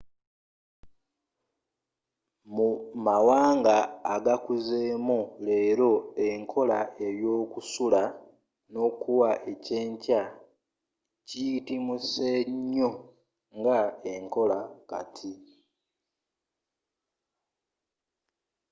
mu mawanga agakuzeemu leero enkola eyokusula n'okuwa eky'enkya kiyitimuse nnyo nga enkola kati